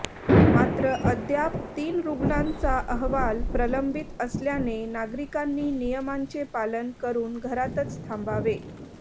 मात्र अद्याप तीन रुग्णांचा अहवाल प्रलंबित असल्याने नागरिकांनी नियमांचे पालन करून घरातच थांबावे